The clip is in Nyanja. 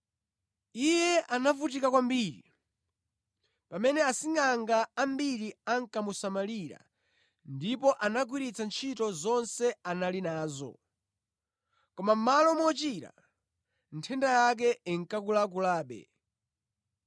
Iye anavutika kwambiri pamene asingʼanga ambiri ankamusamalira ndipo anagwiritsa ntchito zonse anali nazo, koma mʼmalo mochira, nthenda yake inkakulakulabe.